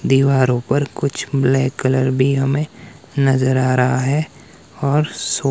दीवारों पर कुछ ब्लैक कलर भी हमें नजर आ रहा है और सो--